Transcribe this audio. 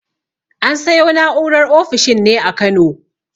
An sayo na'urar ofishin ne a Kano.